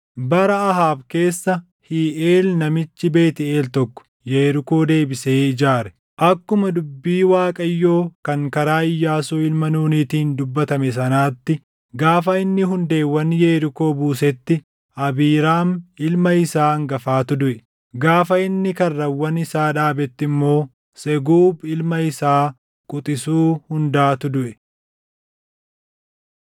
Bara Ahaab keessa Hiiʼeel namichi Beetʼeel tokko Yerikoo deebisee ijaare. Akkuma dubbii Waaqayyoo kan karaa Iyyaasuu ilma Nuunitiin dubbatame sanaatti gaafa inni hundeewwan Yerikoo buusetti Abiiraam ilma isaa hangafatu duʼe; gaafa inni karrawwan isaa dhaabetti immoo Seguub ilma isaa quxisuu hundaatu duʼe.